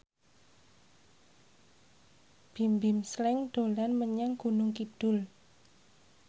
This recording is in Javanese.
Bimbim Slank dolan menyang Gunung Kidul